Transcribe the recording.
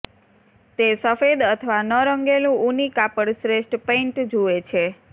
તે સફેદ અથવા ન રંગેલું ઊની કાપડ શ્રેષ્ઠ પેઇન્ટ જુએ છે